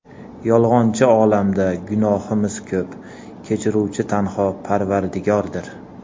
Yolg‘onchi olamda gunohimiz ko‘p, Kechiruvchi tanho parvardigordir.